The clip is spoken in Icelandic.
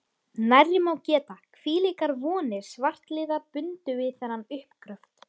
Nærri má geta, hvílíkar vonir svartliðar bundu við þennan uppgröft.